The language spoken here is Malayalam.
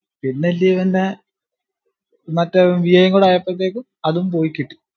പിന്നെ ന്റെ മറ്റേ വി ഐ യും കൂടെ ആയപ്പൊത്തേക്കും അതും പോയി കിട്ടി